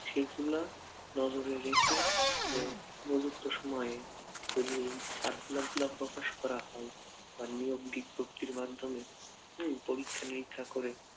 সেইগুলা নজরে রেখে যে উপযুক্ত সময়ে যদি সার্কুলার গুলা প্রকাশ করা হয় বা নিয়ম বিজ্ঞপ্তির মাধ্যমে হম পরীক্ষা নিরীক্ষা করে